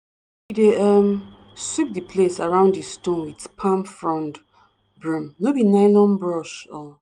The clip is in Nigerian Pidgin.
we dey um sweep di place around di stone with palm frond broom no be nylon brush. um